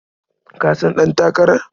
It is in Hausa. Ka san ɗantakarar?